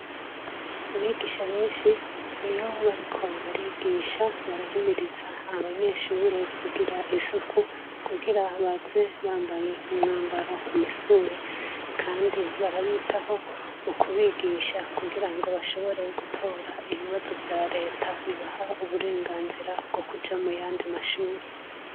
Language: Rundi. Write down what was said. Abigisha benshi iyo bariko barigisha barahimiriza abanyeshure kugira isuku kugira baze bambaye umwambaro umisuwi, kandi barabitaho ukubigisha kugira ngo bashobore gutora ibibazo vya leta bibaha uburenganzirawo ukuja mu yandi mashuri.